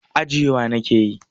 Ajiyewa nake yi.